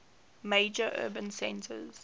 major urban centers